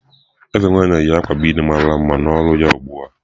Eze nwanyị yi akwa bead mara mma n'olu ya ugbu a.